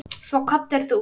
Svo kvaddir þú.